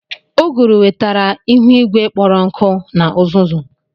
Uguru wetara ihu igwe kpọrọ nkụ na uzuzu.